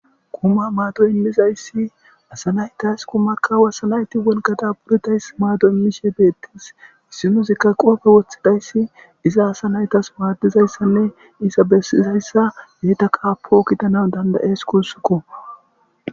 kuma maato immizayssi asa naytas kumakka wasanayti wolgada buritays maado immishe beettis issinuzikka qoofe woththidayssi iza asa naytas waadizayssanne isa bessizayssa beyta qaapo kitanan dandayes kussukko